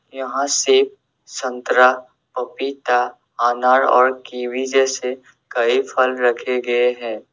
यहां सेव संतरा पपीता अनार और कीवी जैसे कई फल रखे गए हैं।